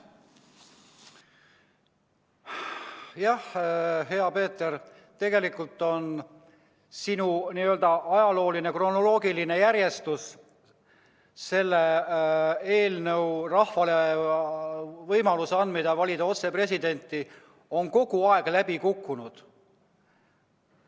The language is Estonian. Jah, hea Peeter, tegelikult näitas see sinu n-ö ajalooline, kronoloogiline järjestus, et see eelnõu, rahvale võimaluse andmine valida otse presidenti, on kogu aeg läbi kukkunud.